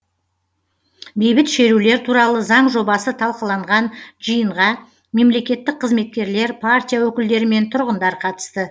бейбіт шерулер туралы заң жобасы талқыланған жиынға мемлекеттік қызметкерлер партия өкілдері мен тұрғындар қатысты